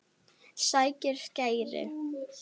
Sækir skæri.